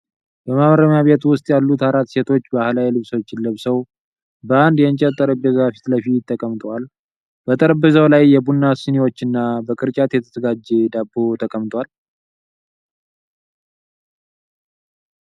በማረሚያ ቤት ውስጥ ያሉ አራት ሴቶች፣ ባህላዊ ልብሶችን ለብሰው፣ በአንድ የእንጨት ጠረጴዛ ፊት ለፊት ተቀምጠዋል። ጠረጴዛው ላይ የቡና ስኒዎችና በቅርጫት የተዘጋጀ ዳቦ ተቀምጧል።